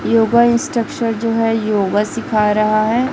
Yoga instructor जो हैं योग सिखा रहा हैं।